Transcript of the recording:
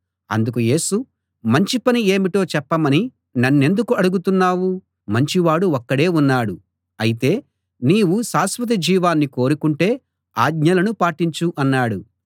అందుకు యేసు మంచి పని ఏమిటో చెప్పమని నన్నెందుకు అడుగుతున్నావు మంచి వాడు ఒక్కడే ఉన్నాడు అయితే నీవు శాశ్వత జీవాన్ని కోరుకుంటే ఆజ్ఞలను పాటించు అన్నాడు